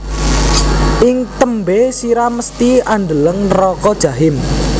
Ing tembe sira mesthi andeleng neraka jahim